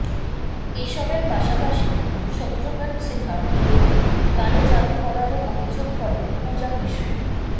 এসবের পাশাপাশি শত্রুঘ্ন সিনহার বিরুদ্ধে কালো যাদু করারও অভিযোগ করেন পূজা মিশ্র